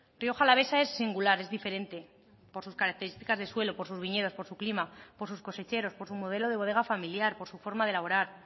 rioja alavesa es singular es diferente por sus características de suelo por sus viñedos por su clima por sus cosecheros por su modelo de bodega familiar por su forma de elaborar